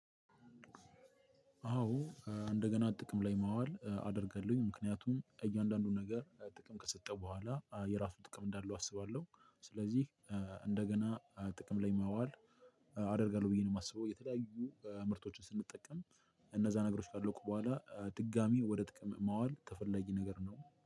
አዎ እንደገና ጥቅም ላይ ማዋል አደርጋለሁኝ ምክንያቱም እያንዳንዱን ነገር ጥቅም ከሰጠው በኋላ የራሱን ጥቅም እንዳለው አስባለሁ ስለዚህ እንደገና ጥቅም ላይ ማዋል አደርጋለሁ ብዬ ነው ማስበው። የተለያዩ ምርቶችን ስንጠቀም እነዛ ነገሮች ካለቁ በኋላ ድጋሚ ወደ ጥቅም ማዋል ተፈለጊ ነገር ነው።